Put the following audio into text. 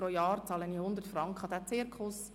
Pro Jahr wird mich dies 100 Franken kosten.